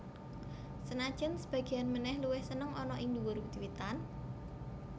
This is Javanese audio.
Senajan sebagéan manèh luwih seneng ana ing dhuwur wit witan